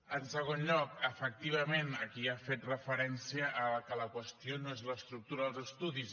en segon lloc efectivament aquí ha fet referència que la qüestió no és l’estructura dels estudis